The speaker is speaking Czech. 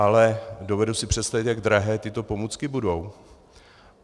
Ale dovedu si představit, jak drahé tyto pomůcky budou.